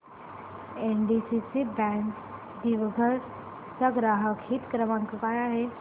NDCC bank दिघवड चा ग्राहक हित क्रमांक काय आहे